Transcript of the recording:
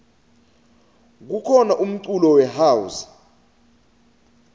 kukhona umculo we house